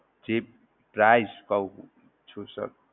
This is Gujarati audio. જી price કહું છું sir